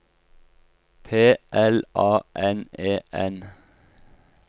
P L A N E N